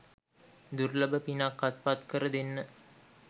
දුර්ලභ පිනක් අත්පත් කර දෙන්න